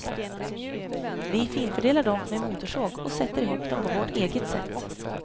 Vi finfördelar dem med motorsåg och sätter ihop dem på vårt eget sätt.